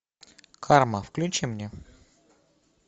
карма включи мне